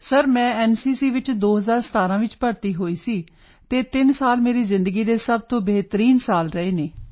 sir ਮੈਂ NCC ਵਿੱਚ 2017 ਚ ਭਰਤੀ ਹੋਈ ਸੀ ਐਂਡ ਇਹ ਤਿੰਨ ਸਾਲ ਮੇਰੀ ਜ਼ਿੰਦਗੀ ਦੇ ਸਭ ਤੋਂ ਬਿਹਤਰੀਨ ਸਾਲ ਰਹੇ ਹਨ